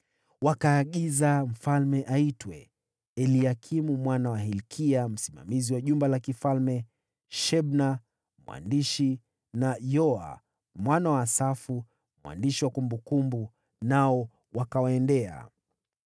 Wakaagiza mfalme aitwe. Eliakimu mwana wa Hilkia aliyekuwa msimamizi wa jumba la mfalme, Shebna aliyekuwa katibu, na Yoa mwana wa Asafu mwandishi wakawaendea.